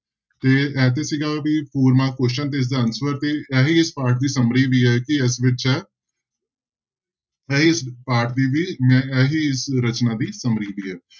ਤੇ ਇਹ ਤੇ ਸੀਗਾ ਵੀ four mark question ਤੇ ਇਸਦਾ answer ਤੇ ਇਹੀ ਪਾਠ ਦੀ summary ਵੀ ਹੈ ਕਿ ਇਸ ਵਿੱਚ ਇਹੀ ਪਾਠ ਦੀ ਵੀ ਮੈਂ ਇਹੀ ਰਚਨਾ ਦੀ summary ਵੀ ਹੈ।